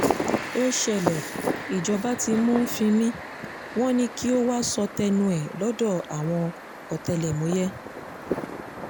ó ṣẹlẹ̀ ìjọba ti mú fímí wọn ni kó wàá sọ tẹnu ẹ̀ lọ́dọ̀ àwọn ọ̀tẹlẹ̀múyẹ́